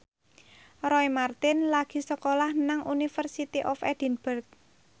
Roy Marten lagi sekolah nang University of Edinburgh